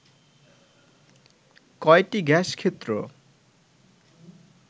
কয়টি গ্যাস ক্ষেত্র